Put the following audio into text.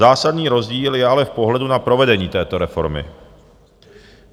Zásadní rozdíl je ale v pohledu na provedení této reformy.